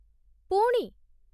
ପୁଣି?